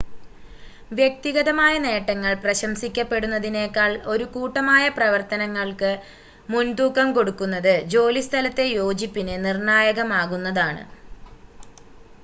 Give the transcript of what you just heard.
വ്യക്തിഗതമായ നേട്ടങ്ങൾ പ്രശംസിക്കപ്പെടുന്നതിനേക്കാൾ ഒരു കൂട്ടമായ പ്രവർത്തനങ്ങൾക്ക് മുൻതൂക്കം കൊടുക്കുന്നത് ജോലിസ്ഥലത്തെ യോജിപ്പിന് നിർണ്ണായകമാകുന്നതാണ്